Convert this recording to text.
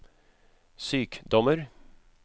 sykdommer